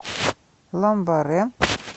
ламбаре